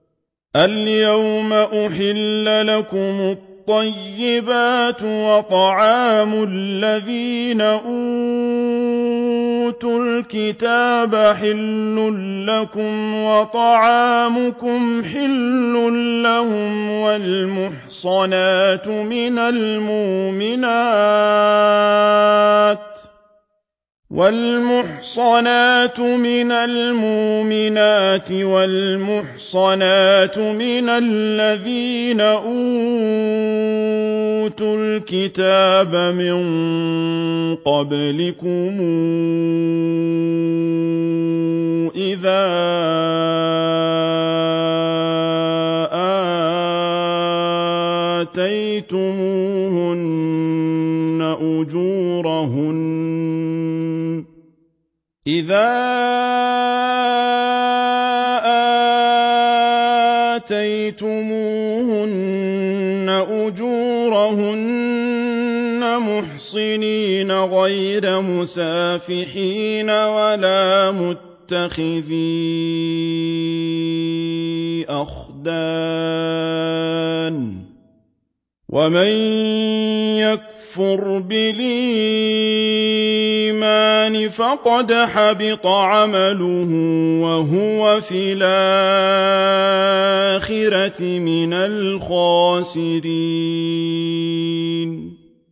الْيَوْمَ أُحِلَّ لَكُمُ الطَّيِّبَاتُ ۖ وَطَعَامُ الَّذِينَ أُوتُوا الْكِتَابَ حِلٌّ لَّكُمْ وَطَعَامُكُمْ حِلٌّ لَّهُمْ ۖ وَالْمُحْصَنَاتُ مِنَ الْمُؤْمِنَاتِ وَالْمُحْصَنَاتُ مِنَ الَّذِينَ أُوتُوا الْكِتَابَ مِن قَبْلِكُمْ إِذَا آتَيْتُمُوهُنَّ أُجُورَهُنَّ مُحْصِنِينَ غَيْرَ مُسَافِحِينَ وَلَا مُتَّخِذِي أَخْدَانٍ ۗ وَمَن يَكْفُرْ بِالْإِيمَانِ فَقَدْ حَبِطَ عَمَلُهُ وَهُوَ فِي الْآخِرَةِ مِنَ الْخَاسِرِينَ